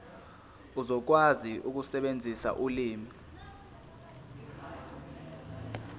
uzokwazi ukusebenzisa ulimi